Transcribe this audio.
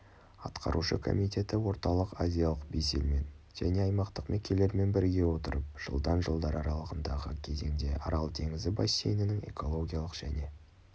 атқарушы комитеті орталық-азиялық бес елмен және аймақтық мекемелермен біріге отырып жылдан жылдар аралығындағы кезеңде арал теңізі бассейнінің экологиялық және